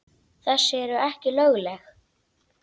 Þessi eru ekki lögleg.